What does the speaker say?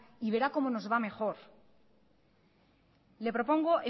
y verá como nos va mejor le propongo